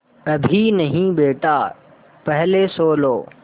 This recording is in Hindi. अभी नहीं बेटा पहले सो लो